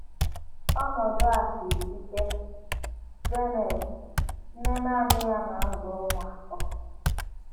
Ọnọdụ a siri ike. ”— JANET, NNE NANỊ um YA NA um - AZỤ ỤMỤ ATỌ.